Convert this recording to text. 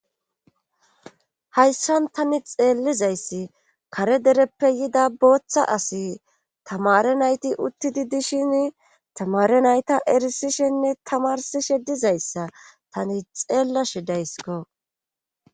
Hayssan tani xeellizayssi kare dereppe yida booththa asi tamare nayti uttidi dishin tamare nayta erisishenne tamarsishe dizayssa tani xeellashidaysko.